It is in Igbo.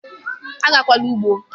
agakwala ugbo!